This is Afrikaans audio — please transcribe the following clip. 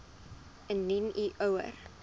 indien u ouer